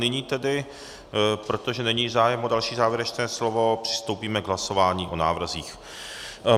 Nyní tedy, protože není zájem o další závěrečné slovo, přistoupíme k hlasování o návrzích.